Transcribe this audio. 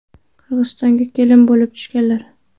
Qirg‘izistonga kelin bo‘lib tushganlar.